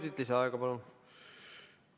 Kolm minutit lisaaega, palun!